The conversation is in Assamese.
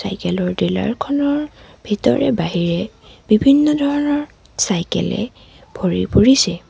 চাইকেল ৰ ডিলাৰ খনৰ ভিতৰে বাহিৰে বিভিন্ন ধৰণৰ চাইকেল এৰে ভৰি পৰিছে।